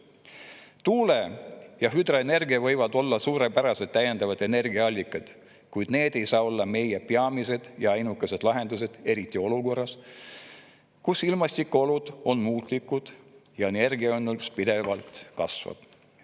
Tuule‑ ja hüdroenergia võivad olla suurepärased täiendavad energiaallikad, kuid need ei saa olla meie peamised ja ainukesed lahendused, eriti olukorras, kus ilmastikuolud on muutlikud ja energianõudlus pidevalt kasvab.